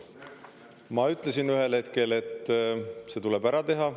Ma ütlesin ühel hetkel, et see tuleb ära teha.